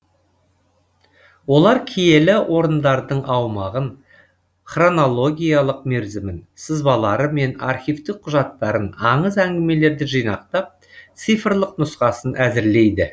олар киелі орындардың аумағын хронологиялық мерзімін сызбалары мен архивтік құжаттарын аңыз әңгімелерді жинақтап цифрлық нұсқасын әзірлейді